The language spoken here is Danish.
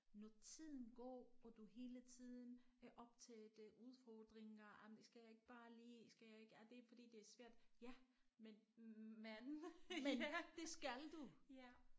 Når tiden går og du hele tiden er optaget af udfordringer jamen skal jeg ikke bare lige skal jeg ikke jamen det er fordi det er svært ja men men det skal du